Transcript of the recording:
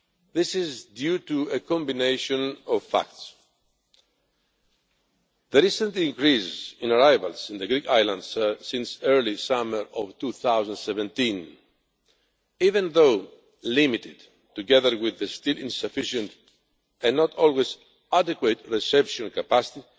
This is due to a combination of factors the recent increase in arrivals on the Greek islands since the early summer of 2017 even though limited together with the still insufficient and not always adequate reception capacity